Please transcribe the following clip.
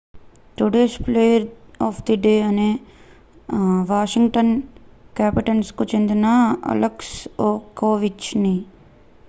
today's player of the day అనేది Washington Capitals కు చెందిన అలెక్స్ ఓవెచ్కిన్